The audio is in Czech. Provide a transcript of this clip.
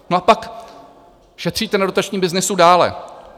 No a pak šetříte na dotačním byznysu dále.